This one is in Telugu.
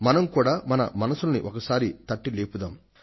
మనం కూడా మన మనస్సుల్ని ఒకసారి తట్టిలేపుదాం